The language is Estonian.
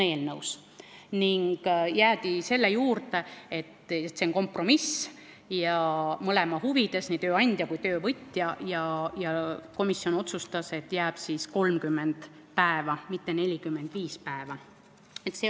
Eelnõus jäädi selle juurde, et see on kompromiss ja mõlema, nii tööandja kui ka töövõtja huvides ning komisjon otsustas, et jääb 30 päeva, mitte 45 päeva.